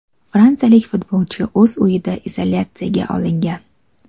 Fransiyalik futbolchi o‘z uyida izolyatsiyaga olingan.